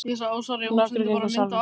Nokkrir gengu úr salnum.